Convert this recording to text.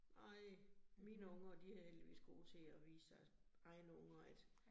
Nej, mine unger de heldigvis gode til at vise deres egne unger, at